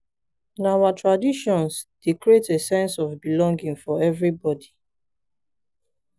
na our traditions dey create a sense of belonging for everybody.